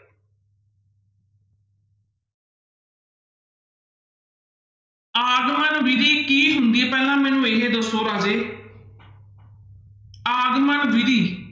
ਆਗਮਨ ਵਿੱਧੀ ਕੀ ਹੁੰਦੀ ਹੈ ਪਹਿਲਾਂ ਮੈਨੂੰ ਇਹ ਦੱਸੋ ਰਾਜੇ ਆਗਮਨ ਵਿੱਧੀ